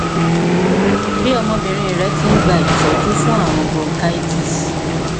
bí ọmọbìnrin rẹ ti ń gba ìtọjú fún ààrùn bronchitis